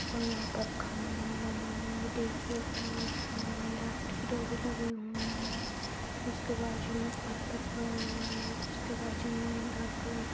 और वहाॅं पर खंबा बना हुआ हैं डीपू का और उसमे लाइट की डोरी लगी हुई हैं उसके बाजू में पत्थर पड़ा हुआ है। उसके बाजू में डार्क कलर --